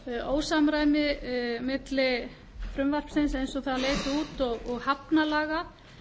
ósamræmi milli frumvarpsins eins og það leit út og hafnalaga